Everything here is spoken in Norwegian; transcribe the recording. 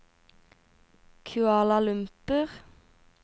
Kuala Lumpur